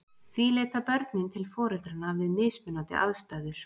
Því leita börnin til foreldranna við mismunandi aðstæður.